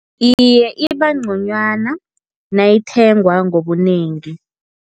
Iye, ibangconywana nayithengwa ngobunengi.